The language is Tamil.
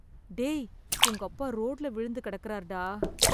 டேய் உங்கப்பா ரோட்டுல விழுந்து கிடக்கறார்டா.